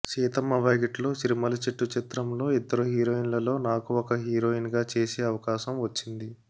సీతమ్మ వాకిట్లో సిరిమల్లె చెట్టు చిత్రంలో ఇద్దరు హీరోయిన్లలో నాకు ఒక హీరోయిన్ గా చేసే అవకాశం వచ్చింది